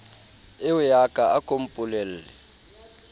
eoya ka a ko mpolelle